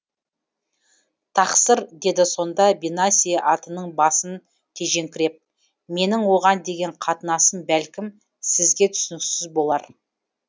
тақсыр деді сонда бенаси атының басын тежеңкіреп менің оған деген қатынасым бәлкім сізге түсініксіз болар